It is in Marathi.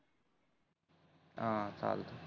अं चल